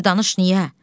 Bir danış niyə?